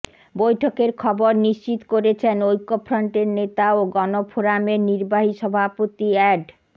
বৈঠকের খবর নিশ্চিত করেছেন ঐক্যফ্রন্টের নেতা ও গণফোরামের নির্বাহী সভাপতি অ্যাড